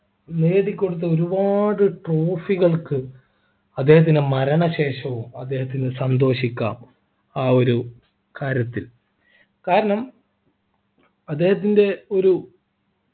നേടിക്കൊടുത്ത ഒരുപാട് trophy കൾക്ക് അദ്ദേഹത്തിൻ്റെ മരണശേഷവും അദ്ദേഹത്തിനു സന്തോഷിക്കാം ആ ഒരു കാര്യത്തിൽ കാരണം അദ്ദേഹത്തിൻ്റെ ഒരു